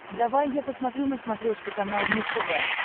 давай я посмотрю на смотрешке канал муз тв